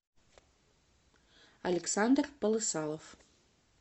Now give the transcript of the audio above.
александр полысалов